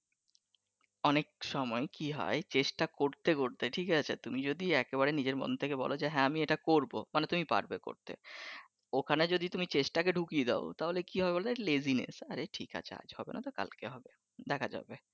অনেক সময় কি হয় চেস্টা করতে করতে ঠিক আছে তুমি যদি একেবারে নিজের মন থেকে বলো যে হ্যাঁ আমি এইটা করবো মানি তুমি পারবে করতে, ওইখানে যদি তুমি চেষ্টাকে ডুকিয়ে দাও কি হবে বলো laziness আচ্ছা আজকে হবে নাহ তো কালকে হবে দেখা যাবে